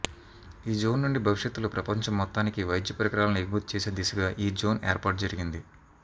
ఈ జోన్ నుండి భవిష్యత్ లో ప్రపంచం మొత్తానికి వైద్య పరికరాలను ఎగుమతిచేసే దిశగా ఈ జోన్ ఏర్పాటు జరిగింది